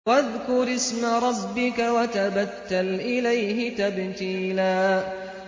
وَاذْكُرِ اسْمَ رَبِّكَ وَتَبَتَّلْ إِلَيْهِ تَبْتِيلًا